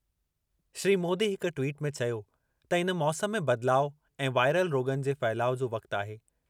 श्री मोदी हिक ट्वीट में चयो त इन मौसम में बदिलाव ऐं वाइरल रोग॒नि जे फहिलाउ जो वक़्ति आहे।